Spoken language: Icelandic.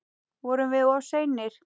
Vorum við of seinir?